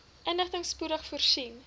inligting spoedig voorsien